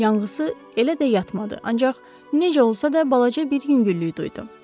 Yanğısı elə də yatmadı, ancaq necə olsa da balaca bir yüngüllük duydu.